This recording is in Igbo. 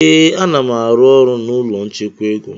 Ee, a-nam arụ na ụlọ nchekwa ego